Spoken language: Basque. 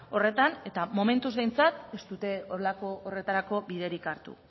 horretan momentuz behintzat ez dute horretarako biderik hartu